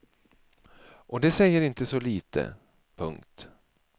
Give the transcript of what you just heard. Och det säger inte så lite. punkt